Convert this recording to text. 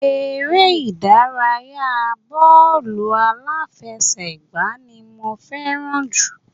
Eré ìdárayá bọ́ọ̀lù aláfẹsẹ́gbá ni mo fẹ́ràn jù